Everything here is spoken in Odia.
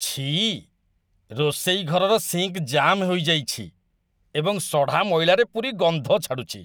ଛିଃ, ରୋଷେଇ ଘରର ସିଙ୍କ୍ ଜାମ୍ ହୋଇଯାଇଛି ଏବଂ ସଢ଼ା ମଇଳାରେ ପୂରି ଗନ୍ଧ ଛାଡ଼ୁଛି।